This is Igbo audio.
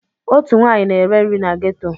Otu nwaanyị na-ere nri na geto.